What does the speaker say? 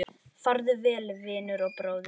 Farðu vel, vinur og bróðir!